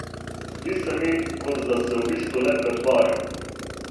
Zdi se mi, kot da se v bistvu le pretvarjam.